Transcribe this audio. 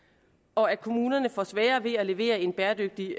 og at kommunerne får sværere ved at levere en bæredygtig